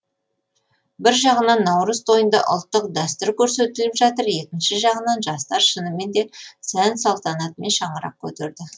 бір жағынан наурыз тойында ұлттық дәстүр көрсетіліп жатыр екінші жағынан жастар шынымен де сән салтанатымен шаңырақ көтерді